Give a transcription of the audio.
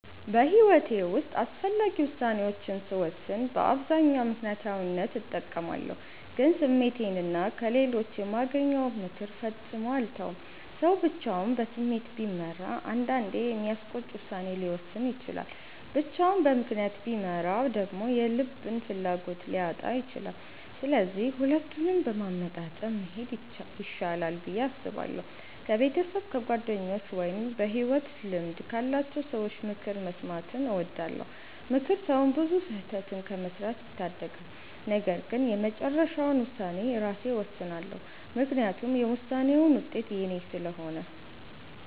በሕይወቴ ውስጥ አስፈላጊ ውሳኔዎችን ስወስን በአብዛኛው ምክንያታዊነትን እጠቀማለሁ፣ ግን ስሜቴንና ከሌሎች የማገኘውን ምክር ፈጽሞ አልተውም። ሰው ብቻውን በስሜት ቢመራ አንዳንዴ የሚያስቆጭ ውሳኔ ሊወስን ይችላል፤ ብቻውን በምክንያት ቢመራ ደግሞ የልብን ፍላጎት ሊያጣ ይችላል። ስለዚህ ሁለቱንም በማመጣጠን መሄድ ይሻላል ብዬ አስባለሁ። ከቤተሰብ፣ ከጓደኞች ወይም በሕይወት ልምድ ካላቸው ሰዎች ምክር መስማትን እወዳለሁ። ምክር ሰውን ብዙ ስህተት ከመስራት ይታደጋል። ነገር ግን የመጨረሻውን ውሳኔ ራሴ እወስናለሁ፤ ምክንያቱም የውሳኔውን ውጤት የኔ ስለሆነ።